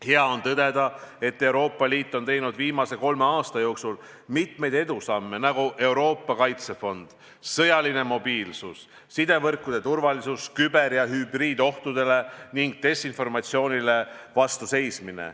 Hea on tõdeda, et Euroopa Liit on teinud viimase kolme aasta jooksul mitmeid edusamme, nagu Euroopa Kaitsefond, sõjaline mobiilsus, sidevõrkude turvalisus, küber- ja hübriidohtudele ning desinformatsioonile vastu seismine.